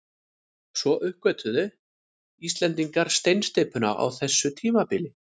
Svo uppgötvuðu Íslendingar steinsteypuna á þessu tímabili.